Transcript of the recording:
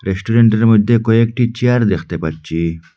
রেস্টুরেন্টের মধ্যে কয়েকটি চেয়ার দেখতে পাচ্ছি।